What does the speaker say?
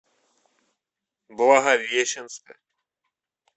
благовещенска